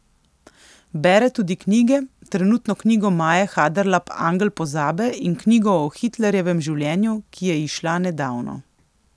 Bere tudi knjige, trenutno knjigo Maje Haderlap Angel pozabe in knjigo o Hitlerjevem življenju, ki je izšla nedavno.